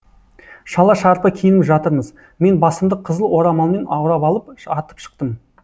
шала шарпы киініп жатырмыз мен басымды қызыл орамалмен орап алып атып шықтым